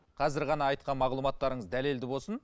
қазір ғана айтқан мағлұматтарыңыз дәлелді болсын